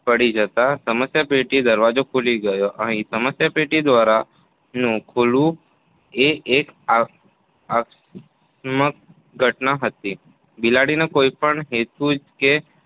પડી જતાં સમસ્યાપેટીનો દરવાજો ખૂલી ગયો. અહીં સમસ્યાપેટી ધ્વારા દરવાજાનું ખૂલવું એ એક આ~ આકસ્મિક ઘટના હતી. બિલાડીને કોઈપણ હેતુ કે